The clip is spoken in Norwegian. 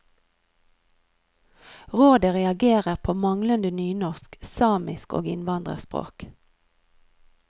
Rådet reagerer på manglende nynorsk, samisk og innvandrerspråk.